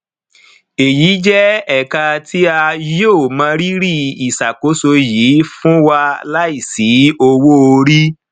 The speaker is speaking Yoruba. eyi jẹ eka ti a yoo mọrírì iṣakoso yii fun wa laisi owoori